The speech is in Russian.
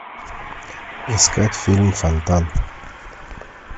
искать фильм фонтан